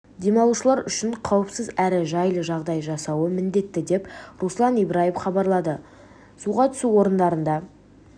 демалушылар үшін қауіпсіз әрі жайлы жағдай жасалуы міндетті деп руслан ибраев хабарлады суға түсу орындарында